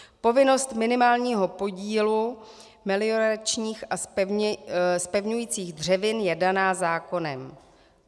Povinnost minimálního podílu melioračních a zpevňujících dřevin je daná zákonem.